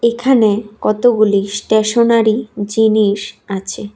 এখানে কতগুলি স্টেশনারি জিনিস আছে।